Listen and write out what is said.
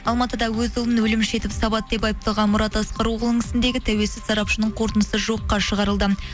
алматыда өз ұлын өлім жетіп сабады деп айыпталған мұрат асқарұоғылының ісіндегі тәуелсіз сарапшының қорытындысы жоққа шығарылды